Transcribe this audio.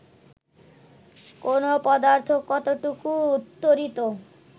কোন পদার্থ কতটুকু তড়িত